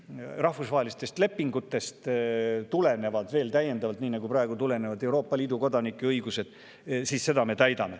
Ja kui siis rahvusvahelistest lepingutest tulenevad veel täiendavalt, nii nagu praegu tulenevad Euroopa Liidu kodanike õigused, siis seda me täidame.